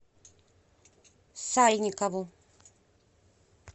сальникову